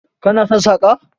Kana son saƙa?